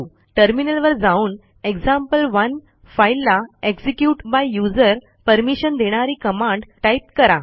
टर्मिनलवर जाऊन एक्झाम्पल1 फाईलला execute by यूझर परमिशन देणारी कमांड टाईप करा